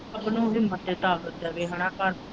ਹਨਾਂ ਆਪਾਂ।